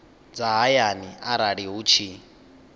dza hayani arali hu tshi